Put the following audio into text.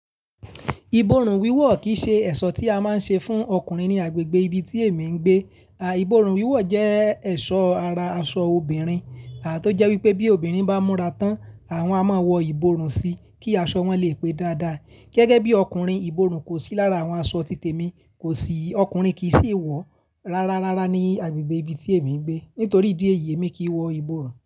Ìbòrùn wíwò kì í ṣe ẹ̀ṣọ́ tí a máa ń ṣe fún ọkùnrin ní agbègbè ibi tí èmi ń gbé. À, ìbòrùn wíwò jẹ́ ẹ̀ṣọ́ ara aṣọ obìnrin. À, tó jẹ́ wípé bí obìnrin bá múra tán, àwọn a máa wọ ìbòrùn sí i kí aṣọ wọn lè pe dáadáa. Gẹ́gẹ́ bí ọkùnrin ìbòrùn kò sí lára àwọn aṣọ títèmi kò sì, ọkùnrin ki sì wọ̀ rárá rárá ní agbègbè ibi tí èmi ń gbé nítorí ìdí èyí èmi kì wọ ìbòrùn.